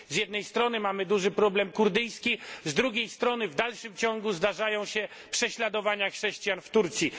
Z jednej strony mamy duży problem kurdyjski, z drugiej strony w dalszym ciągu zdarzają się prześladowania chrześcijan w Turcji.